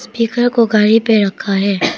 पीकर को गाड़ी पे रखा है।